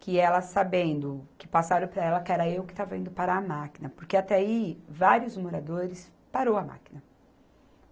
Que ela sabendo, que passaram para ela que era eu que estava indo parar a máquina, porque até aí vários moradores parou a máquina.